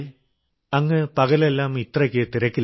അങ്ങ് പകലെല്ലാം ഇത്രയ്ക്ക് തിരക്കിലാണ്